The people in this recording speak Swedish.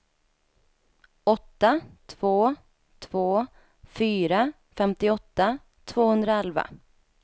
åtta två två fyra femtioåtta tvåhundraelva